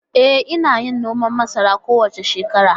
E, ina yin noman masara kowace shekara.